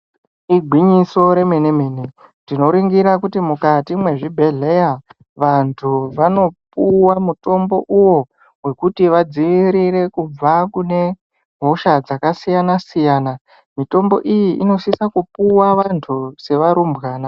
Igwinyiso remene mene tikaringira tinoone kuti mukati mwezvibhedhleya vantu vanopuwa mutombo uwo wekuti vadziirire kubva kune hosha dzakasiyana siyana mitombo iyi inisise kupuwa vantu vari varumbwana.